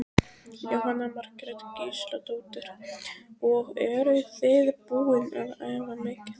Jóhanna Margrét Gísladóttir: Og eruð þið búin að æfa mikið?